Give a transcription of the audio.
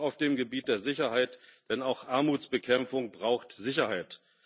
auch auf dem Gebiet der Sicherheit, denn auch Armutsbekämpfung braucht Sicherheit.